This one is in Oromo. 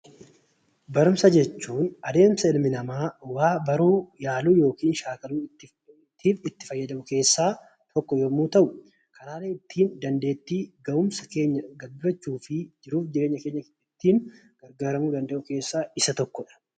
Barumsa jechuun adeemsa ilmi namaa waa baruu yaaluu yookiin shaakaluutiif itti fayyadamnu keessaa tokko yammuu ta'u; karaalee ittiin dandeetti, ga'umsa, argachuu fi ittiin gargaaramnu keessaa isa tokkoodha.